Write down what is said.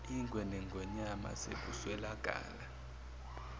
ingwe nengonyama sekuswelakala